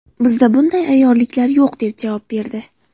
Bizda bunday ayyorliklar yo‘q” deb javob berdi.